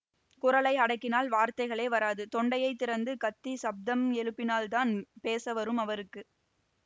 குரலை அடக்கினால் வார்த்தைகளே வராது தொண்டையைத் திறந்து கத்திச் சப்தம் எழுப்பினால்தான் பேச வரும் அவருக்கு